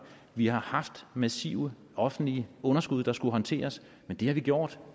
vi har haft massive offentlige underskud der skulle håndteres men det har vi gjort